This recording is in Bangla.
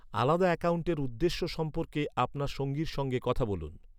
আলাদা অ্যাকাউণ্টের উদ্দেশ্য সম্পর্কে আপনার সঙ্গীর সঙ্গে কথা বলুন।